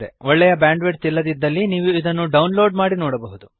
ಒಳ್ಳೆಯ bandwidth ಇಲ್ಲದಿದ್ದಲ್ಲಿ ನೀವು ಇದನ್ನು ಡೌನ್ ಲೋಡ್ ಮಾಡಿ ನೋಡಬಹುದು